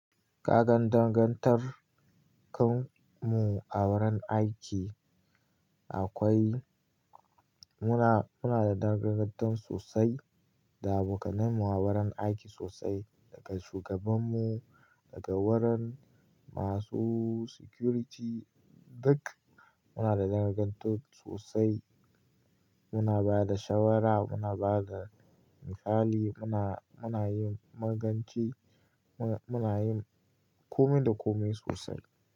Kagan dagangantar kan mu a wurin aiki akwai, muna, muna da dangantakar sosai da abokanai mu a wurin aiki sosai, daga shugaban mu, daga wurin masu security duk muna da dangantakar sosai. Muna ba da shawara, muna ba da misali, muna, muna yin maganci, muna, muna yin kome da kome sosai.